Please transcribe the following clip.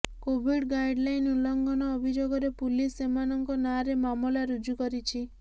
Covid guideline ଉଲ୍ଲଂଘନ ଅଭିଯୋଗରେ police ସେମାନଙ୍କ ନାଁରେ ମାମଲା ରୁଜୁ କରିଛି